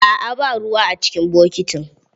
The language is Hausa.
Aa ba ruwa a cikin bokitin.